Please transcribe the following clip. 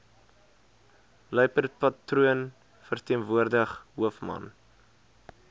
luiperdpatroon verteenwoordig hoofman